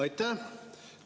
Aitäh!